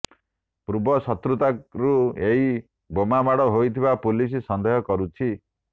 ପୂର୍ବ ଶତ୍ରୁତାରୁ ଏହି ବୋମା ମାଡ଼ ହୋଇଥିବା ପୁଲିସ ସନ୍ଦେହ କରୁଛି